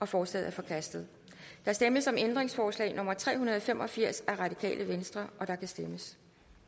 forslaget er forkastet der stemmes om ændringsforslag nummer tre hundrede og fem og firs af rv og der kan stemmes